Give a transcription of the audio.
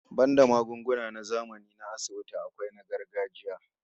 Banda magunguna na zamani na asibiti, akwai kuma na gargajiya